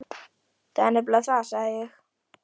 Það er nefnilega það, sagði ég.